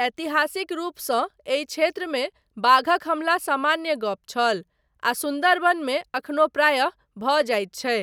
ऐतिहासिक रूपसँ एहि क्षेत्रमे बाघक हमला सामान्य गप छल, आ सुन्दरबनमे अखनो प्रायः भऽ जाइत छै,